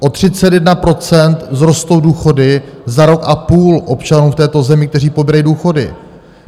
O 31 % vzrostou důchody za rok a půl občanů v této zemi, kteří pobírají důchody.